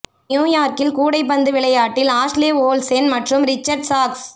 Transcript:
new யார்க்கில் கூடைப்பந்து விளையாட்டில் ஆஷ்லே ஓல்சென் மற்றும் ரிச்சர்ட் சாக்ஸ்